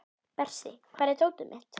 Bersi, hvar er dótið mitt?